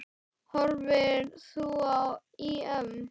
Horfir þú á EM?